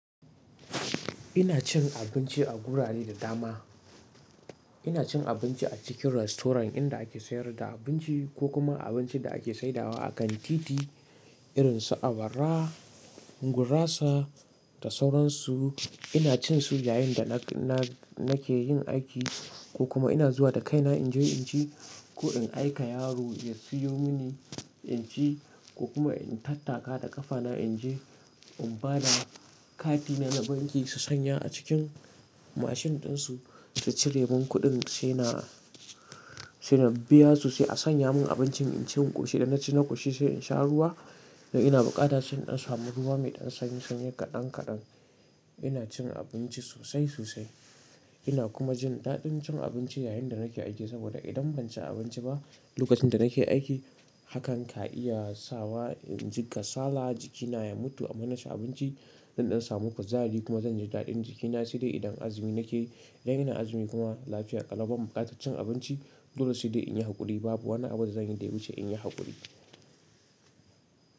Ina cin abinci a gurare da dama. Ina cin abinci a cikin restaurant inda ake sayar da abinci ko kuma abincin da ake saidawa a kantiti irin su awara, gurasa da sauransu. Ina cin su yayin da na-ke yin aiki ko kuma ina zuwa da kaina in je in ci ko in aika yaro ya siyo mini in ci ko kuma in tattaka da ƙafa na in je in bada kati na na banki su sanya a cikin machine ɗinsu su ciremun kuɗin sai na biya su sai a sanya mun abincin in ci in ƙoshi idan na ci na ƙoshi sai in sha ruwa. Idan ina bukata sai in samu ruwa mai dan sanyi kadan kadan ina cin abinci sosai sosai. Ina kuma jin daɗin cin abinci yayin da nake aiki saboda idan ban ci abinci ba lokacin da nake aiki hakan ka iya sa wa injika sala jikina ya mutu amma na ci abinci, zan dan samu fitari kuma zan ji daɗin jikina sai dai idan azumi nake yi. Idan ina azumi kuma lafiya ƙalubal buƙatar cin abinci. Dole sai dai in yi haƙuri babu wani abu da zan yi da yake in yi haƙuri.